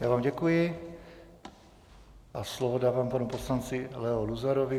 Já vám děkuji a slovo dávám panu poslanci Leo Luzarovi.